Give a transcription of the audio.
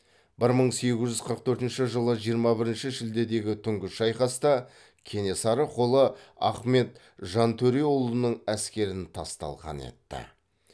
бір мың сегіз жүз қырық төртінші жылы жиырма бірінші шілдедегі түнгі шайқаста кенесары қолы ахмет жантөреұлының әскерін тас талқан етті